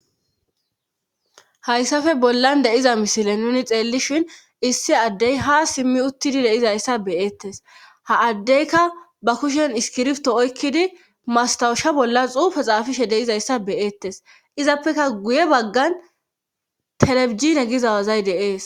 hayssafe bollan de'iza misile nuni xeellishin issi addey ha simmi uttidi deizayssa beyeettes ha addeyka ba kushen iskirfto oykkidi mastawusha bollas xuufe xaafishe deizayssa beyeettes izappeka guye baggan telebijine gizawazay de'ees